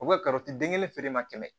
O ye den kelen feere ma kɛmɛ